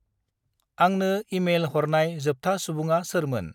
आंंनो इमेइल हरनाय जोबथा सुबुङा सोरमोन?